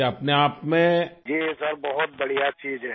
Rajesh Prajapati ji sir بہت بڑھیا چیز بات ہے